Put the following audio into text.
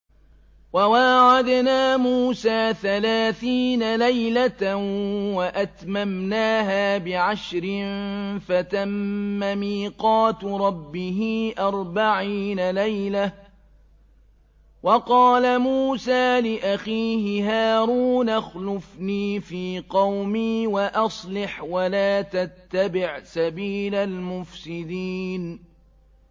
۞ وَوَاعَدْنَا مُوسَىٰ ثَلَاثِينَ لَيْلَةً وَأَتْمَمْنَاهَا بِعَشْرٍ فَتَمَّ مِيقَاتُ رَبِّهِ أَرْبَعِينَ لَيْلَةً ۚ وَقَالَ مُوسَىٰ لِأَخِيهِ هَارُونَ اخْلُفْنِي فِي قَوْمِي وَأَصْلِحْ وَلَا تَتَّبِعْ سَبِيلَ الْمُفْسِدِينَ